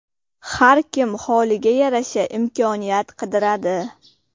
Har kim holiga yarasha imkoniyat qidiradi.